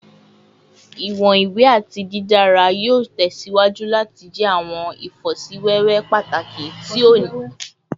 Iwọn iwe ati didara yoo tẹsiwaju lati jẹ awọn ifosiwewe pataki ti o ni ipa lori ifarabalẹ wiwo ti awọn ohun elo ti a tẹjade ni ọjọ iwaju